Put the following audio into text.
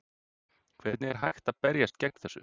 Hvernig er hægt að berjast gegn þessu?